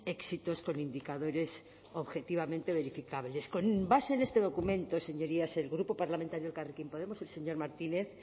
éxitos con indicadores objetivamente verificables con base en este documento señorías el grupo parlamentario elkarrekin podemos el señor martínez